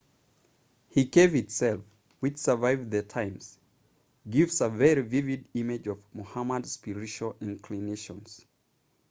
he cave itself which survived the times gives a very vivid image of muhammad's spiritual inclinations